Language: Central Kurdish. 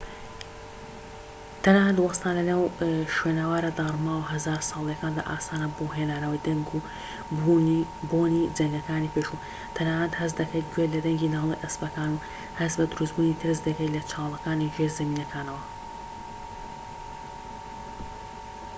تەنانەت وەستان لەنێو شوێنەوارە داڕماوە هەزار ساڵەییەکاندا ئاسانە بۆ هێنانەوەی دەنگ و بۆنی جەنگەکانی پێشوو تەنانەت هەست دەکەیت گوێت لە دەنگی ناڵەی ئەسپەکانە و هەست بە دروستبوونی ترس دەکەیت لە چاڵەکانی ژێرزەمینەکانەوە